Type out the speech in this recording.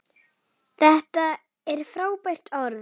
Þetta er frábært orð.